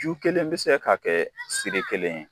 Ju kelen bɛ se ka kɛ siri kelen ye.